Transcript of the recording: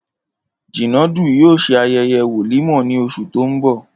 Jínàdú yóò se aye̩ye̩ wòlímò̩ ní os̩ù tó ń bò̩